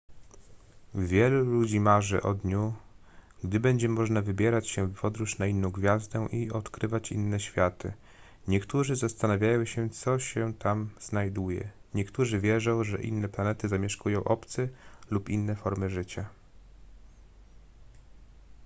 wielu ludzi marzy o dniu gdy będzie można wybrać się w podróż na inną gwiazdę i odkrywać inne światy niektórzy zastanawiają się co się tam znajduje niektórzy wierzą że inne planety zamieszkują obcy lub inne formy życia